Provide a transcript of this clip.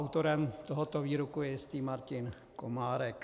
Autorem tohoto výroku je jistý Martin Komárek.